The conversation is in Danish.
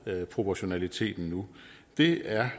proportionaliteten nu det er